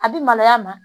A bɛ maloya a ma